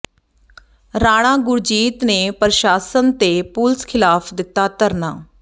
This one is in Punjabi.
ਰਾਣਾ ਗੁਰਜੀਤ ਨੇ ਪ੍ਰਸ਼ਾਸਨ ਤੇ ਪੁਲਸ ਖ਼ਿਲਾਫ਼ ਦਿੱਤਾ ਧਰਨਾ